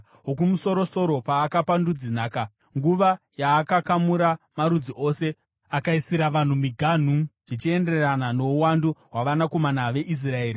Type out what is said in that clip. Wokumusoro-soro paakapa ndudzi nhaka, nguva yaakakamura marudzi ose, akaisira vanhu miganhu, zvichienderana nouwandu hwavanakomana veIsraeri.